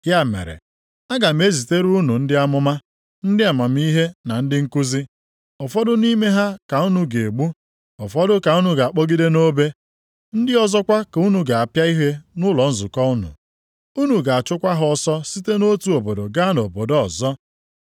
Ya mere, aga m ezitere unu ndị amụma, ndị amamihe na ndị nkuzi. Ụfọdụ nʼime ha ka unu ga-egbu, ụfọdụ ka unu ga-akpọgide nʼobe, ndị ọzọkwa ka unu ga-apịa ihe nʼụlọ nzukọ unu. Unu ga-achụkwa ha ọsọ site nʼotu obodo gaa nʼobodo ọzọ.